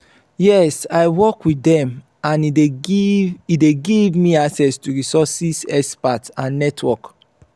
yes i work with dem and e dey give e dey give me access to resources expertise and network.